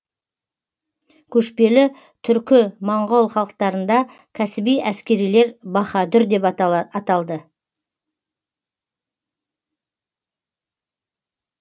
көшпелі түркі моңғол халықтарында кәсіби әскерилер баһадүр деп аталды